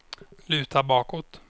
luta bakåt